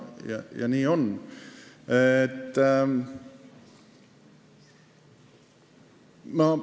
Ja nii on!